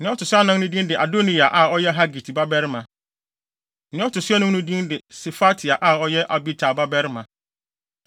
Nea ɔto so anan no din de Adoniya a ɔyɛ Hagit babarima; nea ɔto so anum no din de Sefatia a ɔyɛ Abital babarima.